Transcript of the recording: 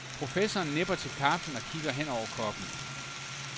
Professoren nipper til kaffen og kigger hen over koppen.